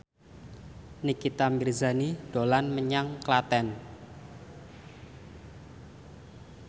Nikita Mirzani dolan menyang Klaten